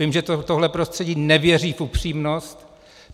Vím, že tohle prostředí nevěří v upřímnost.